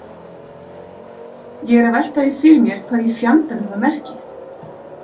Ég er að velta því fyrir mér hvað í fjandanum það merki.